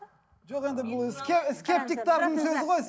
жоқ енді бұл скептикатердің сөзі ғой